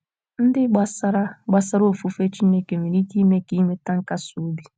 ndị gbasara gbasara ofufe chineke nwere ike ime ka inweta nkasi obi